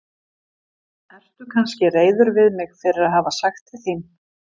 Ertu kannski reiður við mig fyrir að hafa sagt til þín?